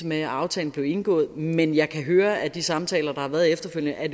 med da aftalen blev indgået men jeg kan høre af de samtaler der har været efterfølgende at